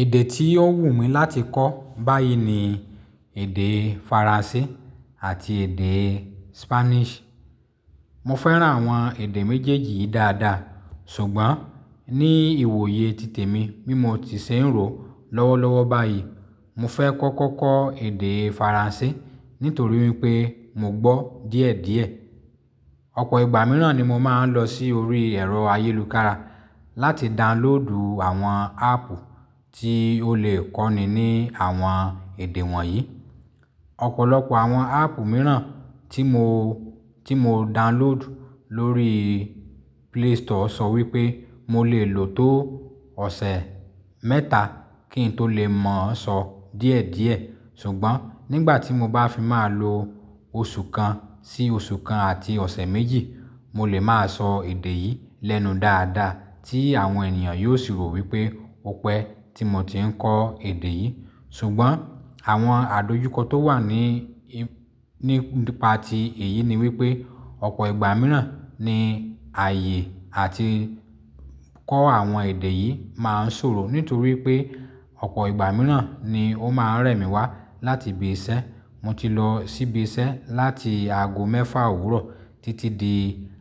Èdè tí ó wù mí láti kọ́ báyìí ni èdè Faransé àti èdè Spanish. Mo fẹ́ran àwọn èdè méjèèjì yìí dáadáa, ṣùgbọ́n ní ìwòye títè mi, bí mo ti ṣè n rò lọ́wọ́ lọ́wọ́ báyìí, mo fẹ́ kọ́kọ́ kọ́ èdè Faransé nítorí wípé mo gbọ́ díẹ̀díẹ̀. Ọ̀pọ̀ ìgbà mìíràn ni mo máa ń lọ sí orí ẹ̀rọ ayélukára láti danloodu àwọn áàpù tí ó lè kọ́ni ní àwọn èdè wọ̀nyí. Ọ̀pọ̀lọpọ̀ àwọn áàpù mìíràn tí mo, tí mo download lórí Play Store sọ wípé mo lè lò ó tó ọ̀sẹ̀ mẹ́ta kí n tó lè mọ̀ ọ́n sọ díẹ̀díẹ̀, ṣùgbọ́n nígbà tí mo bá fi máa lo oṣù kan sí oṣù kan àti ọ̀sẹ̀ méjì, mo lè máa sọ èdè yìí lẹ́nu dáadáa tí àwọn ènìyàn yóò sì rò wípé ó pẹ́ tí mo ti ń kọ èdè yìí. Ṣùgbọ́n àwọn àdojúkọ tó wà ní, nípa ti èyí ni wípé ọ̀pọ̀ ìgbà mìíràn ni ààyè àti kọ́ àwọn èdè yìí máa ń ṣòro nítorí pé ọ̀pọ̀ ìgbà mìíràn ni ó máa ń rẹ̀ mí wá láti ibi iṣẹ́. Mo ti lo si ibi iṣẹ́ láti aago mefa òwúrọ̀ titi di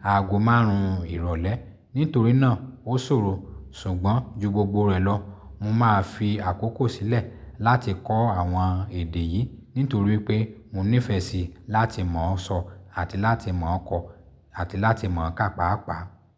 aago márùn ìrọ̀lẹ́. Nítorí náà ó ṣòro, ṣùgbọ́n ju gbogbo rẹ̀ lọ, mo máa fi àkókò sílẹ̀ láti kọ́ àwọn èdè yìí nítorí pé mo nífẹ̀ẹ́ síi láti mọ̀ ọ́n sọ àti láti mọ̀ ọ́ kọ àti láti mọ̀ ọ́n kà pàápàá.